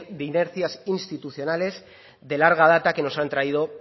de inercias institucionales de larga data que nos han traído